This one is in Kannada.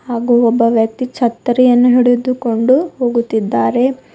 ಹಾಗೂ ಒಬ್ಬ ವ್ಯಕ್ತಿ ಛತ್ತರಿಯನ್ನು ಹಿಡಿದುಕೊಂಡು ಹೋಗುತ್ತಿದ್ದಾರೆ.